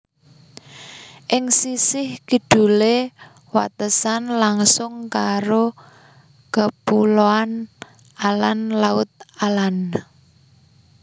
Ing sisih kidule watesan langsung karo Kepuloan Âland Laut Âland